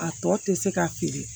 A tɔ tɛ se ka feere